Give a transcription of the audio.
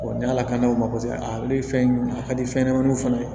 ni ala ka n'o sɛbɛn a ale ye fɛn ye a ka di fɛnɲɛnɛmaninw fana ye